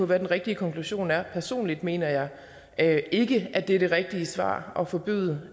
hvad den rigtige konklusion er personligt mener jeg jeg ikke at det er det rigtige svar at forbyde